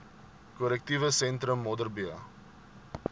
korrektiewe sentrum modderbee